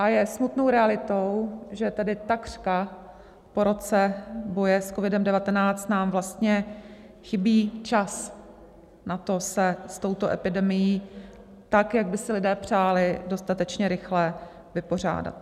A je smutnou realitou, že tedy takřka po roce boje s COVID-19 nám vlastně chybí čas na to se s touto epidemií tak, jak by si lidé přáli, dostatečně rychle vypořádat.